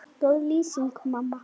Góð lýsing?